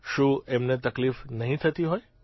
શું એમને તકલીફ નહીં થતી હોય